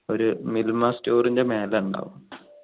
ഒരു മിൽമ store ൻ്റെ മേലെ ഉണ്ടാവും